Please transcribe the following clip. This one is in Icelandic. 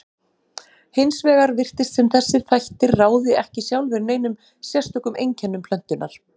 Hins vegar virtist sem þessir þættir ráði ekki sjálfir neinum sérstökum einkennum plöntunnar.